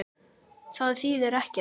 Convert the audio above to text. Það þýðir ekkert.